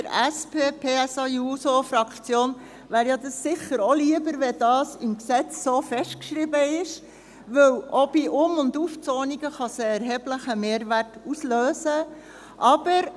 Der SP-JUSO-PSA-Fraktion wäre es sicher auch lieber, wenn dies im Gesetz so festgeschrieben wäre, weil auch bei Um- und Aufzonungen ein erheblicher Mehrwert ausgelöst werden kann.